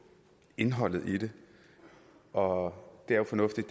indholdet og det er jo fornuftigt